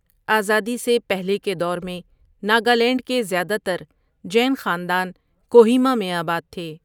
آزادی سے پہلے کے دور میں، ناگالینڈ کے زیادہ تر جین خاندان کوہیما میں آباد تھے۔